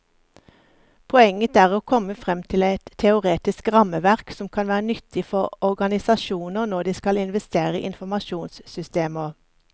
Poenget er å komme frem til et teoretisk rammeverk som kan være nyttig for organisasjoner når de skal investere i informasjonssystemer.